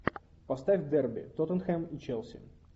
поставь дерби тоттенхэм и челси